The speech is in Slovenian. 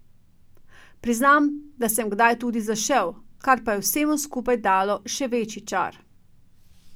Priznam, da sem kdaj tudi zašel, kar pa je vsemu skupaj dalo še večji čar.